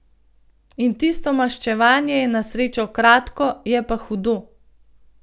In tisto maščevanje je na srečo kratko, je pa hudo.